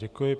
Děkuji.